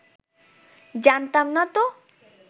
জানতাম না তো